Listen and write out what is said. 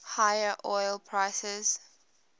higher oil prices